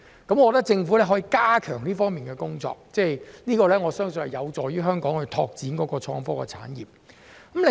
我覺得，政府可以加強這方面的工作，而我亦相信這會有助香港拓展創新科技產業。